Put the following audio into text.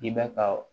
I bɛ ka